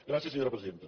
gràcies senyora presidenta